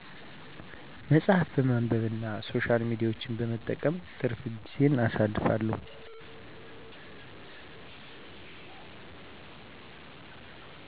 መጸሀፍ በማንብና ሶሻል ሚዲያወችን በመጠቀም ትርፍ ግዜየን አሳልፋለሁ።